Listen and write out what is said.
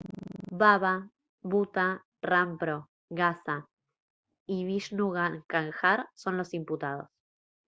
baba bhutha rampro gaza y vishnu kanjar son los imputados